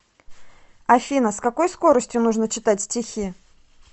афина с какой скоростью нужно читать стихи